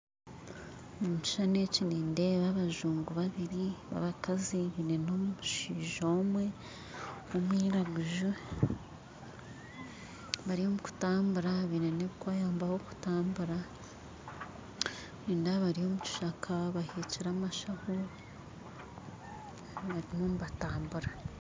Omu kishushani eki nindeeba abajungu babiri babakazi baine n'omushaija omwe omwiragunzu bari omu kutambura baine n'ebiri kubayambaho omu kutambuura nindeeba bari omu kishaaka baheekire amashaaho bariyo intramural